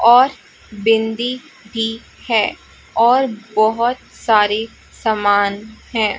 और बिंदी ती है और बहुत सारे सामान हैं।